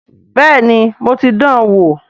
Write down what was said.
Bẹ́ẹ̀ni mo ti dan wò